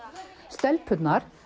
stelpurnar